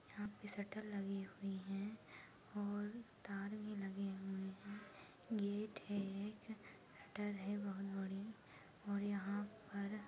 यहाँ पे शटर लगे हुई हैं और तारे लगे हुए हैं गेट है एक शटर है बहोत बड़ी और यहाँ पर --